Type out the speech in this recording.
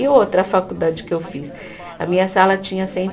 E outra a faculdade que eu fiz, a minha sala tinha cento e